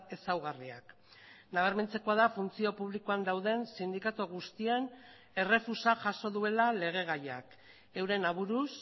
ezaugarriak nabarmentzekoa da funtzio publikoan dauden sindikatu guztien errefusa jaso duela legegaiak euren aburuz